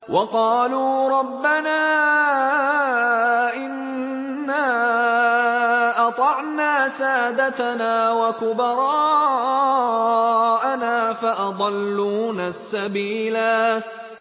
وَقَالُوا رَبَّنَا إِنَّا أَطَعْنَا سَادَتَنَا وَكُبَرَاءَنَا فَأَضَلُّونَا السَّبِيلَا